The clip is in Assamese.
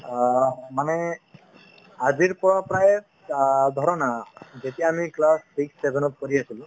অহ্, মানে আজিৰ পৰা প্ৰায় অ ধৰা না যেতিয়া আমি class six seven ত পঢ়ি আছিলো